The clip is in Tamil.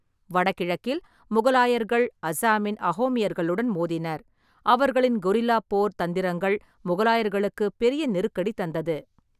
வடகிழக்கில், முகலாயர்கள் அஸ்ஸாமின் அஹோமியர்களுடன் மோதினர், அவர்களின் கொரில்லா போர் தந்திரங்கள் முகலாயர்களுக்கு பெரிய நெருக்கடி தந்தது.